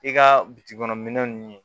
I ka bitikiɔnin ninnu ye